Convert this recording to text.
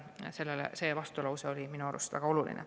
See vastulause oli minu arust väga oluline.